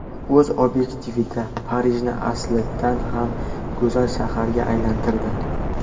U o‘z obyektivida Parijni aslidan ham go‘zal shaharga aylantirdi.